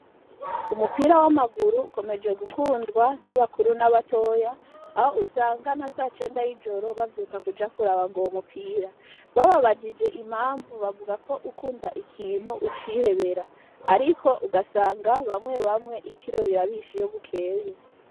Umupira w'amaguru ukomeje gukundwa n'abakuru na batoya aho usanga nkasa cenda y'ijoro bavyuka kuja kuraba nguyo mupira . Bababajije impamvu bavugako ukunda ikintu ucihebera ariko ugasanga bamwe bamwe itiro rirabishe iyo bukeye .